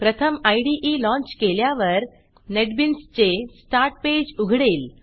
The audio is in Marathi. प्रथम इदे लाँच केल्यावर नेटबीन्सचे स्टार्ट पेज उघडेल